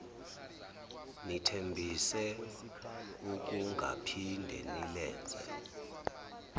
nithembise ukungaphinde nilenze